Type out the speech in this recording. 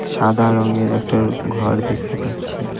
সাদা রঙের একটার ঘর দেখতে পাচ্ছি।